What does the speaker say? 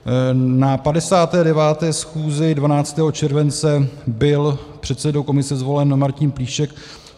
Na 59. schůzi 12. července byl předsedou komise zvolen Martin Plíšek.